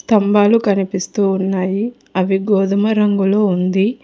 తంబాలు కనిపిస్తూ ఉన్నాయి అవి గోధుమ రంగులో ఉంది